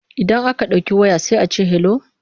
Idan aka ɗauki waya sai a ce 'hello'.